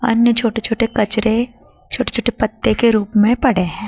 अन्य छोटे छोटे कचरे छोटे छोटे पत्ते के रूप में पड़े हैं।